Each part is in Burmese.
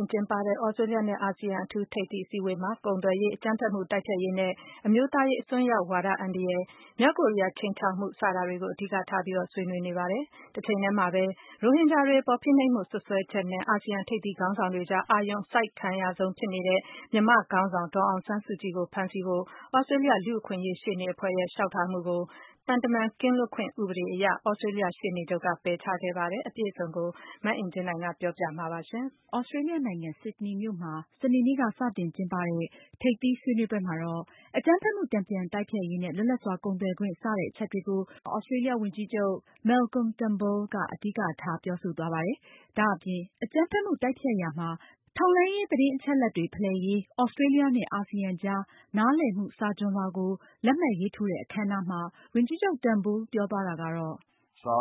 မ်ကျင်းပတဲ့ သြစတြေးလျနဲ့ အာဆီယံ အထူးထိပ်သီးအစည်းအဝေးပွဲမှာ ကုန်သွယ်ရေး၊ အကြမ်းဖက်မှု တိုက်ဖျက်ရေးနဲ့ အမျိုးသားရေးအစွန်းရောက်ဝါဒ အန္တရာယ်၊ မြောက်ကိုရီးယား ခြိမ်းခြောက်မှု စတာတွေကို အဓိကထားဆွးနွေးနေပါတယ်။ တချိန်ထဲမှာပဲ ရိုဟင်ဂျာတွေအပေါ် ဖိနှိပ်မှု စွပ်စွဲချက်နဲ့ အာဆီယံထိပ်သီးခေါင်းဆောင်တွေကြား အာရုံစိုက်အခံရဆုံးဖြစ်တဲ့ မြန်မာခေါင်းဆောင် ဒေါ်အောင်ဆန်းစုကြည်ကို ဖမ်းဆီးဖို့ သြစတြေးလျ လူ့အခွင့်အရေး ရှေ့နေအဖွဲ့ရဲ့ လျှောက်ထားမှုကို သံတမန်ကင်းလွတ်ခွင့် ဥပဒေရ သြစတြေးလျ ရှေ့နေချုပ်က ပယ်ချခဲ့ပါတယ်။ မအင်ကြင်းနိုင်က အပြည့်အစုံ တင်ပြမှာပါ။ သြစတြေးလျနိုင်ငံ၊ ဆစ်ဒနီမြို့မှာ စနေနေ့ စတင်ကျင်းပတဲ့ ထိပ်သီးဆွေးနွေးပွဲမှာတော့ အကြမ်းဖက်မှု တန်ပြန်တိုက်ဖျက်ရေးနဲ့ လွတ်လပ်စွာကုန်သွယ်ခွင့် စတဲ့အချက်တွေကို သြစတေးလျ ဝန်ကြီးချုပ် Malcolm Turnbull ကအဓိကထား ပြောဆိုသွားပါတယ်။ ဒါ့အပြင် အကြမ်းဖက်မှု တိုက်ဖျက်ရာမှာ ထောက်လှမ်းရေး သတင်းအချက်အလက်တွေဖလှယ်ရေး သြစတြေးလျနဲ့ အာဆီယံ ကြား နားလည်မှုစာချွန်လွှာကိုလက်မှတ်ရေးထိုးတဲ့ အခမ်းအနားမှာလည်း ဝန်ကြီးချုပ် Turnbull က ပြောသွားတာကတော့ “ကျနေ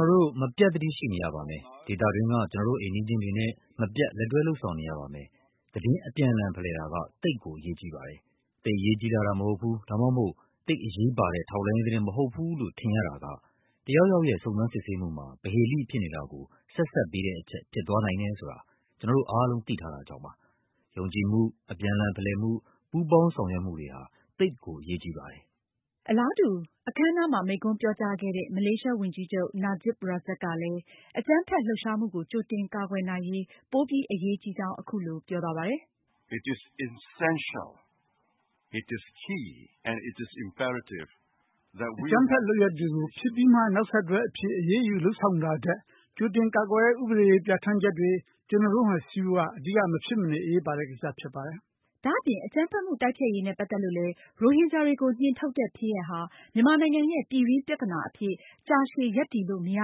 ာ်တို့ မပြတ် သတိရှိနေရပါမယ်၊ ဒေသတွင်းက ကျနော်တို့ အိမ်နီးချင်းတွေနဲ့ မပြတ် လက်တွဲ လုပ်ဆောင်နေရပါမယ်။ သတင်း အပြန်အလှန်ဖလှယ်တာဟာ သိပ်ကို အရေးကြီးပါတယ်။ သိပ် အရေးကြီးလှတာ မဟုတ်ဘူး၊ ဒါမှမဟုတ် သိပ်အရေးပါတဲ့ ထောက်လှမ်းရေးသတင်း မဟုတ်ဘူးလို့ ထင်ရတာက တယောက်ယောက်ရဲ့ စုံစမ်းစစ်ဆေးမှုမှာ ပဟေဠိဖြစ်နေတာကို ဆက်စပ်ပေးတဲ့အချက် ဖြစ်သွားနိုင်တယ်ဆိုတာ ကျနော်တို့အားလုံး သိထားတာကြောင့်ပါ။ ယုံကြည်မှု၊ အပြန်အလှန်ဖလှယ်မှု၊ ပူးပေါင်းဆောင်ရွက်မှုတွေဟာ သိပ်ကို အရေးကြီးပါတယ်။” အလားတူ အခမ်းအနားမှာ မိန့်ခွန်းပြောကြားခဲ့တဲ့ မလေးရှားဝန်ကြီးချုပ် Najib Razak ကလည်း အကြမ်းဖက်လှုပ်ရှားမှုကို ကြိုတင်ကာကွယ်နိုင်ရေး ပိုပြီးအရေးကြီးကြောင်း အခုလိုပြောပါတယ်။ “အကြမ်းဖက်လုပ်ရပ်တွေကို ဖြစ်ပြီးမှ နောက်ဆက်တွဲအဖြစ် အရေးယူဆောင်ရွက်တာထက် ကြိုတင်ကာကွယ်ထားတဲ့ ဥပဒေပြဌာန်းချက်တွေ ကျနော်တို့မှာရှိဖို့က အဓိက မဖြစ်မနေအရေးပါတဲ့ ကိစ္စဖြစ်ပါတယ်။” ဒါအပြင် အကြမ်းဖက်မှုတိုက်ဖျက်ရေးနဲ့ ပတ်သက်လို့လည်း ရိုဟင်ဂျာတွေကို နှင်ထုတ်တဲ့ ဖြစ်ရပ်ဟာ မြန်မာနိုင်ငံရဲ့ ပြည်တွင်းပြဿနာအဖြစ် ကြာရှည် ရပ်တည်လို့မရ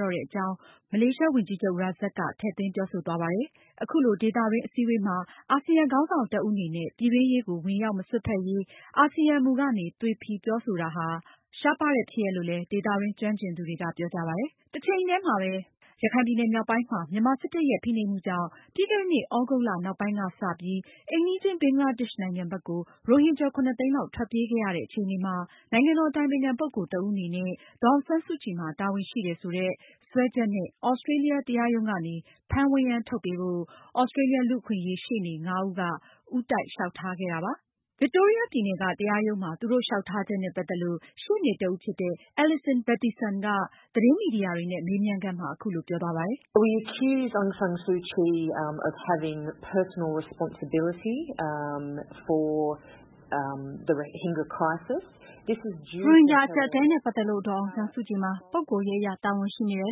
တော့တဲ့ အကြောင်းလည်း မလေးရှားဝန်ကြီးချုပ် Razak ထည့်သွင်းပြော ဆိုသွားပါတယ်။ အခုလို ဒေသတွင်းအစည်းအဝေးမှာ အာဆီယံခေါင်းဆောင်တဦးအနေနဲ့ ပြည်တွင်းရေးကို ဝင်ရောက်မစွက်ဖက်ရေး အာဆီယံမူကနေ သွေဖည်ပြောဆိုတာဟာ ရှားပါးတဲ့ဖြစ်ရပ်လို့လည်း ဒေသတွင်းကျွမ်းကျင်သူတွေက ပြောကြပါတယ်။ တချိန်ထဲမှာပဲ ရခိုင်ပြည်နယ်မြောက်ပိုင်းမှာ မြန်မာစစ်တပ်ရဲ့ ဖိနှိပ်မှုကြောင့် ပြီးခဲ့တဲ့နှစ် သြဂုတ်လ နောက်ပိုင်းကစပြီး အိမ်နီးချင်း ဘင်္ဂလားဒေ့ရှ်နိုင်ငံဘက်ကို ရိုဟင်ဂျာ ၇ သိန်းလောက် ထွက်ပြေးခဲ့ရတဲ့အခြေအနေမှာ နိုင်ငံတော်အတိုင်ပင်ခံပုဂ္ဂိုလ် တဦးအနေနဲ့ ဒေါ်အောင်ဆန်းစုကြည်မှာ တာဝန်ရှိတယ်ဆိုတဲ့ စွပ်စွဲချက်နဲ့ သြစတြေးလျ တရားရုံးကနေ ဖမ်းဝရမ်းထုတ်ပေးဖို့ သြစတြေးလျ လူ့အခွင့်အရေးရှေ့နေ ငါးဦးက ဦးတိုက်လျောက်ထားခဲ့တာပါ။ Victoria ပြည်နယ်က တရားရုံးမှာ သူတို့ လျောက်ထားချက်နဲ့ ပတ်သက်လို့ ရှေ့နေတဦးဖြစ်တဲ့ Alison Battisson က သတင်းမီဒီယာတွေနဲ့ မေးမြန်းခန်းမှာ အခုလိုပြောပါတယ်။ “ရိုဟင်ဂျာ အကျပ်အတည်းနဲ့ ပတ်သက်လို့ ဒေါ်အောင်ဆန်းစုကြည်မှာ ပုဂ္ဂိုလ်ရေးအရ တာဝန်ရှိနေတယ်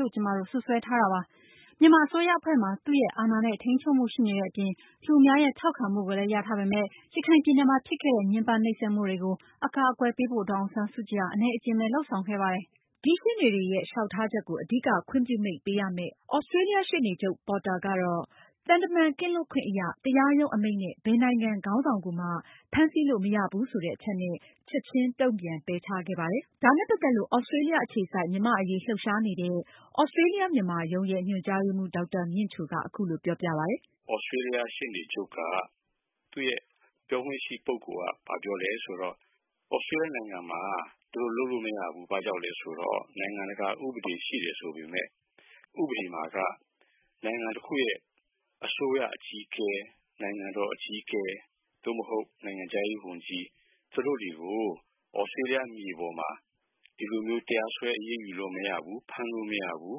လို့ ကျမတို့ စွပ်စွဲထားတာပါ။ မြန်မာအစိုးရအဖွဲ့မှာ သူရဲ့အာဏာနဲ့ ထိန်းချုပ်မှု ရှိနေတဲ့အပြင် လူအများရဲ့ ထောက်ခံမှုကိုလည်း ရထားပေမယ့် ရခိုင်ပြည်နယ်မှာ ဖြစ်ခဲ့တဲ့ ညှမ်းပန်းနှိပ်စက်မှုတွေကို အကာအကွယ်ပေးဖို့ ဒေါ်အောင်ဆန်းစုကြည် ဟာ အနည်းအကျဉ်းပဲ လုပ်ဆောင်ခဲ့ပါတယ်။” တရားရုံးဘက်ကတော့ သူတို့ လျှောက်ထားချက်ကို လက်ခံခဲ့ပေမယ့် ဒီရှေ့နေတွေရဲ့ လျှောက်ထားချက်ကို အဓိကခွင့်ပြုမိန့်ပေးရမယ့် သြစတြေးလျ ရှေ့နေချုပ် Christian Porter ကတော့ သံတမန် ကင်းလွတ်ခွင့်အရ တရားရုံးအမိန့်နဲ့ ဘယ်နိုင်ငံခေါင်းဆောင်ကိုမှ ဖမ်းဆီးလို့မရဘူးဆိုတဲ့အချက်နဲ့ ချက်ချင်းတုန့်ပြန် ပယ်ချခဲ့ပါတယ်။ ဒါနဲ့ ပတ်သက်လို့ သြစတြေးလျအခြေစိုက် မြန်မာအရေးလှုပ်ရှားနေတဲ့ သြစတြေးလျ-မြန်မာရုံး ရဲ့ ညွှန်ကြားရေးမှူး ဒေါက်တာမြင့်ချို က အခုလိုပြောပါတယ်။ “ သြစတေးလျ ရှေ့နေချုပ်က သူ့ရဲ့ ပြောခွင့်ရှိပုဂ္ဂိုလ်က ဘာပြောလည်းဆိုတော့ သြစတေးလျနိုင်ငံမှာ သူတို့လုပ်လို့မရဘူး။ ဘာကြောင့်လည်းဆိုတော့ နိုင်ငံတကာဥပဒေရှိတယ်ဆိုပေမယ့် ဥပဒေမှာက နိုင်ငံတခုရဲ့အစိုးရအကြီးအကဲ၊ နိုင်ငံတော်အကြီးအကဲ၊ သို့မဟုတ် နိုင်ငံခြားရေးဝန်ကြီး သူတို့တွေကို သြစတေးလျမြေပေါ်မှာ ဒီလိုမျိုးတရားစွဲဆိုလို့မရဘူး၊ ဖမ်းလို့မရဘူး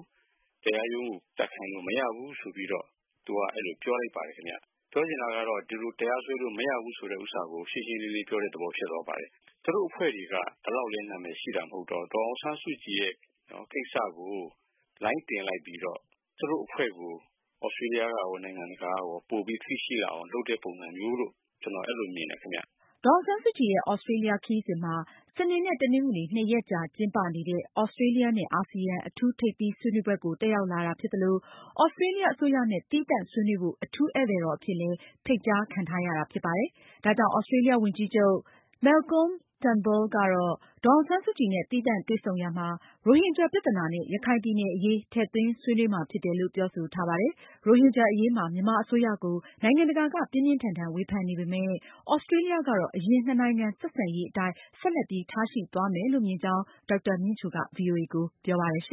၊ တရားရုံးကို တက်ခိုင်းလို့မရဘူးဆိုပြီးတော့ သူက အဲဒီလိုပြောလိုက်ပါတယ် ခင်ဗျ။ ပြောချင်တာကတော့ ဒီလိုတရားစွဲဆိုလို့မရဘူးဆိုတာကို ရှင်းရှင်းလင်းလင်း ပြောတဲ့သဘောဖြစ်သွားပါတယ်။ သူတို့အဖွဲ့တွေက ဒီလောက်လည်း နာမည်ရှိတာမဟုတ်တော့ ဒေါ်အောင်ဆန်းစုကြည်ရဲ့ ကိစ္စကို လိုင်းတင်လိုက်ပြီးတော့ သူတို့အဖွဲ့ကို သြစတေးလျကရော နိုင်ငံတကာကရော ပိုပြီးသိရှိလာအောင် လုပ်တဲ့ ပုံစံမျိုးလို့ ကျနော် အဲဒီလိုမျိုးမြင်တယ် ခင်ဗျ “ ဒေါ်အောင်ဆန်းစုကြည်ရဲ့ သြစတြေးလျခရီးစဉ်မှာ စနေနဲ့ တနင်္ဂနွေ နှစ်ရက်ကြာကျင်းပနေတဲ့ သြစတြေးလျ နဲ့ အာဆီယံ အထူး ထိပ်သီးဆွေးနွေးပွဲကို တက်ရောက်လာတာဖြစ်သလို သြစတြေးလျအစိုးရနဲ့ သီးသန့်ဆွေးနွေးဖို့ အထူးဧည့်သည်တော်အဖြစ် ဖိတ်ကြားခံထားရတာလည်းဖြစ်ပါတယ်။ သြစတြေးလျ ဝန်ကြီးချုပ် Malcolm Turnbull ကတော့ ဒေါ်အောင်ဆန်းစုကြည်နဲ့ သီးသန့်တွေ့ဆုံရာမှာ ရိုဟင်ဂျာပြဿနာ နဲ့ ရခိုင်ပြည်နယ်အရေး ကိုထည့်သွင်းဆွေးနွေးမှာဖြစ်တယ်လို့ ပြောဆိုထားတာပါ။ ရိုဟင်ဂျာအရေးမှာ မြန်မာအစိုးရကို နိုင်ငံတကာက ပြင်းပြင်းထန်ထန်ဝေဖန်နေပေမယ့် သြစတြေးလျကတော့ အရင် နှစ်နိုင်ငံဆက်ဆံရေးအတိုင်း ဆက်လက်ပြီး ထားရှိသွားမယ်လို့ မြင်ကြောင်း ဒေါက်တာမြင့်ချိုက VOA ကို ပြောပါတယ်။